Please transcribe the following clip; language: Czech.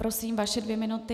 Prosím, vaše dvě minuty.